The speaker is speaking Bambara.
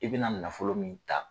I bɛ na nafolo min ta.